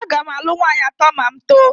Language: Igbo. Aga m alụ nwaanyị atọ ma m too